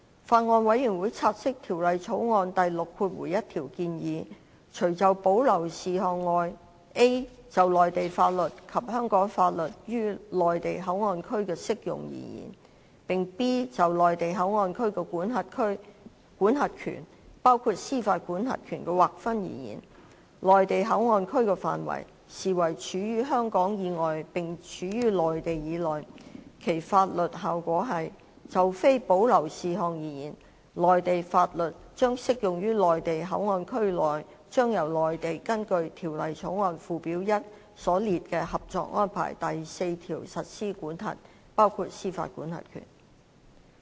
法案委員會察悉，《條例草案》第61條建議，除就保留事項外 ，a 就內地法律及香港法律於內地口岸區的適用而言；並 b 就內地口岸區的管轄權的劃分而言，內地口岸區的範圍，視為處於香港以外並處於內地以內。其法律效果是，就非保留事項而言，內地法律將適用於內地口岸區內將由內地根據《條例草案》附表1所列的《合作安排》第四條實施管轄。